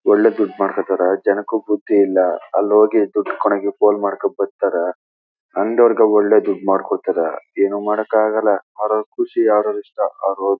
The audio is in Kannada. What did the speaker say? ಒಳ್ಳೆ ದುಡ್ ಮಾಡ್ಕೊಂತಾರ ಜನಕ್ಕೂ ಬುದ್ಧಿ ಇಲ್ಲ ಅಲ್ಲಿ ಹೋಗಿ ದುಡ್ ಕೊಟ್ಟು ಮಾಡ್ಕೊಂಡು ಬರ್ತಾರಾ ಅಂಗಡಿಯವರು ಒಳ್ಳೆ ದುಡ್ಡ್ ಮಾಡ್ಕೊಂತಾರ. ಏನು ಮಾಡಕ್ಕಾಗಲ್ಲ ಅವರವರ ಖುಷಿ ಅವ್ರವ್ರ್ ಇಷ್ಟ ಅವರ್--